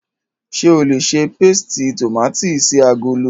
Ṣé o lè ṣe pésìtì tòmátì sí agolo?